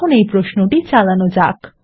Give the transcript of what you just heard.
এখন এই প্রশ্নটি চালানো যাক